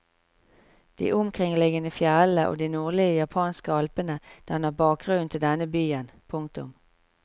De omkringliggende fjellene og de nordlige japanske alpene danner bakgrunnen til denne byen. punktum